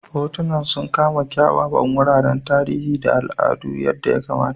Hotunan sun kama kyawawan wuraren tarihi da al'adu yadda ya kamata.